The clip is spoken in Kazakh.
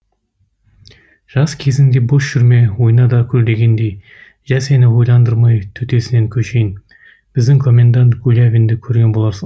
жас кезіңде бос жүрме ойна да күл дегендей жә сені ойландырмай төтесіне көшейін біздің комендант гулявинді көрген боларсың